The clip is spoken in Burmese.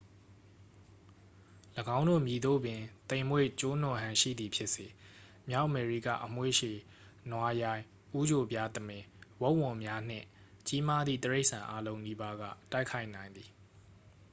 ၎င်းတို့ မည်သို့ပင် သိမ်မွေ့ကျိုးနွံဟန်ရှိသည်ဖြစ်စေ မြောက်အမေရိကအမွေးရှည် နွားရိုင်း ဦးချိုပြားသမင် ဝက်ဝံများနှင့် ကြီးမားသည့် တိရိစ္ဆာန် အားလုံးနီးပါးက တိုက်ခိုက်နိုင်သည်